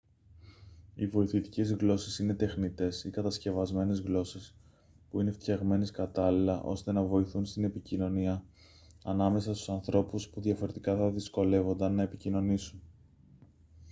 οι βοηθητικές γλώσσες είναι τεχνητές ή κατασκευασμένες γλώσσες που είναι φτιαγμένες κατάλληλα ώστε να βοηθούν στην επικοινωνία ανάμεσα στους ανθρώπους που διαφορετικά θα δυσκολεύονταν να επικοινωνήσουν